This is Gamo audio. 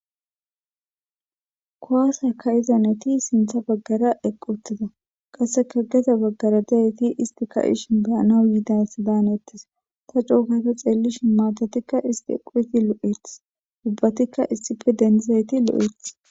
kowase ka'iza nayti sintha baggara eqqi utida qasseka gede baggara daheti isti ka ishin beyanau yiidas daan ettes ta cookata xeellishi maatatikka isti equeti lo7eth ubbatikka issife dendizayti lo7eeth